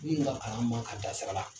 Min ka kalan man kan ka da sira la.